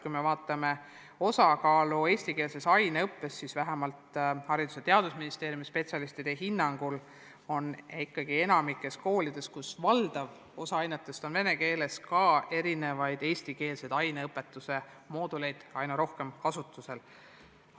Kui me vaatame eestikeelse aineõppe osakaalu, siis vähemalt Haridus- ja Teadusministeeriumi spetsialistide hinnangul on enamikus koolides, kus valdav osa ainetest on vene keeles, erinevaid eestikeelseid aineõpetuse mooduleid aina rohkem kasutusel.